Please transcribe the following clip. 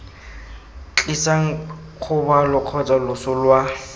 tlisang kgobalo kgotsa loso lwa